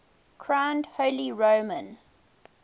crowned holy roman